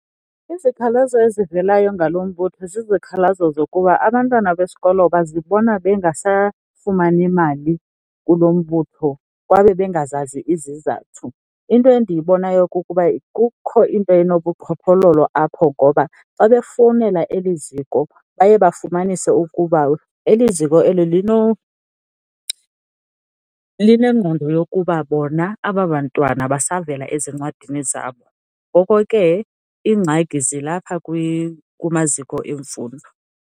Izikhalazo ezivelayo ngalo mbutho zizikhalazo zokuba abantwana besikolo bazibona bengasafumani mali kulo mbutho kwaye bengazazi izizathu. Into endiyibonayo kukuba kukho into enobuqhophololo apho ngoba xa befowunela eli ziko baye bafumanise ukuba eli ziko eli linengqondo yokuba bona aba bantwana basavela ezincwadini zabo, ngoko ke iingxaki zilapha kumaziko emfundo.